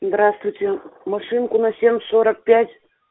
здравствуйте машинку на семь сорок пять